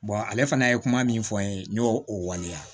ale fana ye kuma min fɔ n ye n y'o o waleya